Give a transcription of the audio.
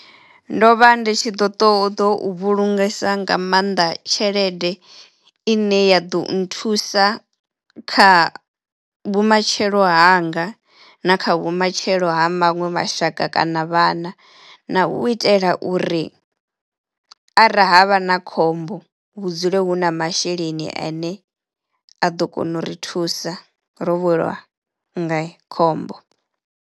Ndo vha ndi tshi ḓo ṱoḓou vhulungesa nga maanḓa tshelede i ne ya ḓo nthusa kha vhumatshelo hanga na kha vhumatshelo ha maṅwe mashaka kana vhana na u itela uri arali havha na khombo hu dzule hu na masheleni ane a ḓo kona u ri thusa ro welwa nga khombo.